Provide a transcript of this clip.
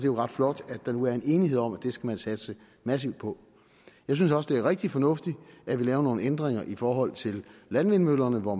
jo ret flot at der nu er en enighed om at det skal man satse massivt på jeg synes også det er rigtig fornuftigt at vi laver nogle ændringer i forhold til landvindmøllerne hvor